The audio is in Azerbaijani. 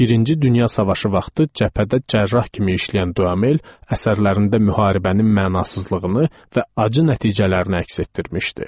Birinci Dünya Savaşı vaxtı cəbhədə cərrah kimi işləyən Duamel əsərlərində müharibənin mənasızlığını və acı nəticələrini əks etdirmişdi.